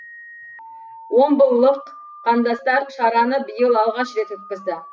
омбылық қандастар шараны биыл алғаш рет өткізді